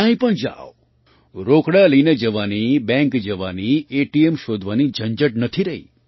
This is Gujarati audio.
ક્યાંય પણ જાવ રોકડા લઈને જવાની બૅંક જવાની ઍટીએમ શોધવાની ઝંઝટ નથી રહી